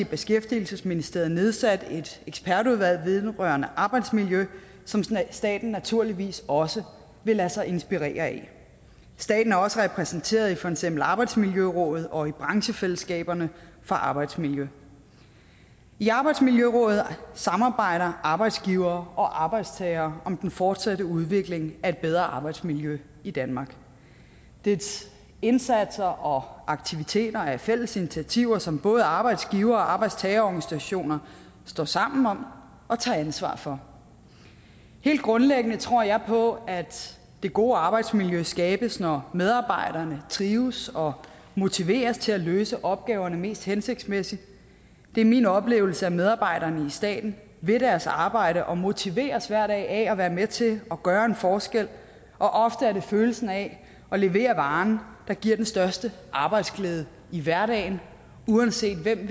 beskæftigelsesministeriet nedsat et ekspertudvalg vedrørende arbejdsmiljø som staten naturligvis også vil lade sig inspirere af staten er også repræsenteret i for eksempel arbejdsmiljørådet og i branchefællesskaberne for arbejdsmiljø i arbejdsmiljørådet samarbejder arbejdsgivere og arbejdstagere om den fortsatte udvikling af et bedre arbejdsmiljø i danmark dets indsatser og aktiviteter er fælles initiativer som både arbejdsgiver og arbejdstagerorganisationer står sammen om og tager ansvar for helt grundlæggende tror jeg på at det gode arbejdsmiljø skabes når medarbejderne trives og motiveres til at løse opgaverne mest hensigtsmæssigt det er min oplevelse at medarbejderne i staten vil deres arbejde og motiveres af at være med til at gøre en forskel og ofte er det følelsen af at levere varen der giver den største arbejdsglæde i hverdagen uanset hvem